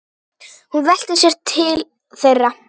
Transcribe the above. Hún velti sér til þeirra.